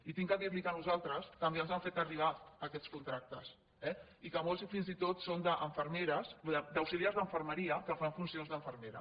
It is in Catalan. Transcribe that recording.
i he de dir·li que a nosaltres també ens han fet arribar aquests contractes eh i que molts fins i tot són d’au·xiliars d’infermeria que fan funció d’infermera